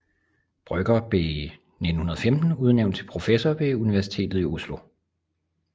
Brøgger blev i 1915 udnævnt til professor ved Universitetet i Oslo